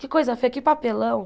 Que coisa feia, que papelão!